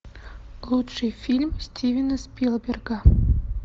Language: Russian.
лучший фильм стивена спилберга